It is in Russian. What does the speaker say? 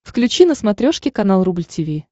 включи на смотрешке канал рубль ти ви